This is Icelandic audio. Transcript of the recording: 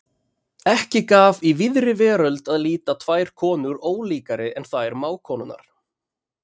Ekki gaf í víðri veröld að líta tvær konur ólíkari en þær mágkonurnar.